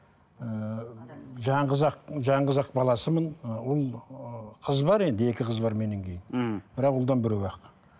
ііі жалғыз ақ жалғыз ақ баласымын і ұл ы қыз бар енді екі қыз бар меннен кейін мхм бірақ ұлдан біреу ақ